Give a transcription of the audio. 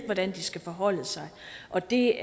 hvordan de skal forholde sig og det